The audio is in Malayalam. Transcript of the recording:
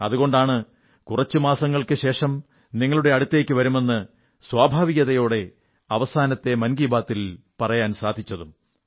അതുകൊണ്ടാണ് കുറച്ച് മാസങ്ങൾക്കുശേഷം നിങ്ങളുടെ അടുത്തേക്കു വരുമെന്ന് സ്വാഭാവികതയോടെ അവസാനത്തെ മൻ കീ ബാത്തിൽ പറയാൻ സാധിച്ചതും